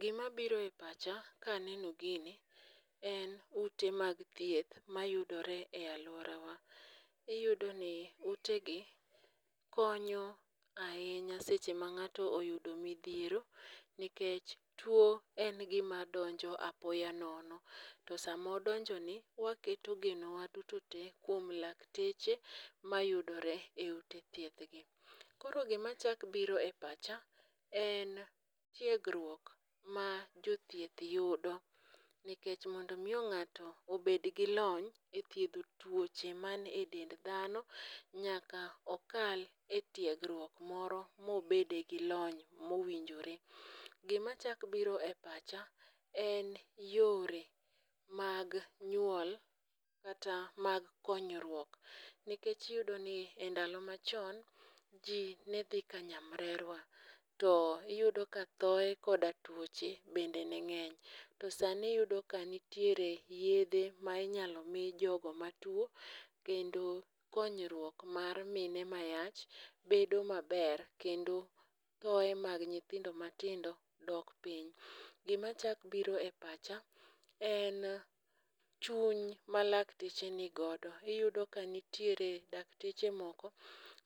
Gimabiro e pacha kaneno gini en ute mag thieth mayudore e alworawa. Iyudoni utegi konyo ahinya seche ma ng'ato oyudo midhiero, nikech two en gima donjo apoya nono, to sama odonjoni waketo genowa duto te kuom lakteche mayudore e ute thiethgi. Koro gimachako biro e pacha en tigruok ma jothieth yudo nikech mondo omiyo ng'ato obed gi lony e thiedho tuoche manie dend dhano, nyaka okal e tiegruok moro mobede gi lony mowinjore. Gimachako biro e pacha en yore mag nyuo kata mag konyruok nikech iyudoni e ndalo machon, ji ne dhi ka nyamrerwa. To iyudo ka thoye koda tuoche bende ne ng'eny. To sani iyudo ka nitiere yiedhe ma inyalo mi jogo matuwo kendo konyruok mar mine ma yach bedo maber kendo thoye mag nyithindo matindo dok piny. Gimachako biro e pacha en chuny malakteche ni godo. Iyudo ka nitiere dakteche moko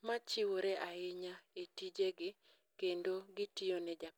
machiwore ahinya e tijegi kendo gitiyo ne